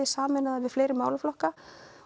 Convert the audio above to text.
sameina það við fleiri málaflokka